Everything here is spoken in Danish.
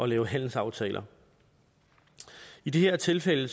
lave handelsaftaler i det her tilfælde